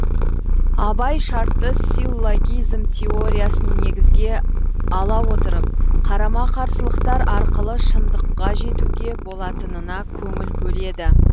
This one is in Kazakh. абай шартты силлогизм теориясын негізге ала отырып қарама қарсылықтар арқылы шыңдыққа жетуге болатынына көңіл бөледі